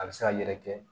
A bɛ se ka yɛrɛkɛ